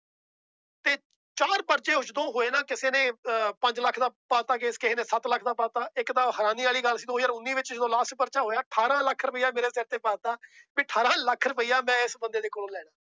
ਤੇ ਚਾਰ ਪਰਚੇ ਜਦੋਂ ਹੋਏ ਨਾ ਕਿਸੇ ਨੇ ਅਹ ਪੰਜ ਲੱਖ ਦਾ ਪਾ ਦਿੱਤਾ case ਕਿਸੇ ਨੇ ਸੱਤ ਲੱਖ ਦਾ ਪਾ ਦਿੱਤਾ, ਇੱਕ ਤਾਂ ਹੈਰਾਨੀ ਵਾਲੀ ਗੱਲ ਸੀ ਦੋ ਹਜ਼ਾਰ ਉੱਨੀ ਵਿੱਚ ਜਦੋਂ last ਪਰਚਾ ਹੋਇਆ ਅਠਾਰਾਂ ਲੱਖ ਰੁਪਇਆ ਮੇਰੇ ਸਿਰ ਤੇ ਪਾ ਦਿੱਤਾ ਵੀ ਅਠਾਰਾਂ ਲੱਖ ਰੁਪਇਆ ਮੈਂ ਇਸ ਬੰਦੇ ਦੇ ਕੋਲੋਂ ਲੈਣਾ।